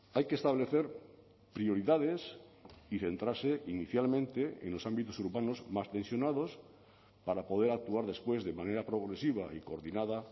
hay que establecer prioridades y centrarse inicialmente en los ámbitos urbanos más tensionados para poder actuar después de manera progresiva y coordinada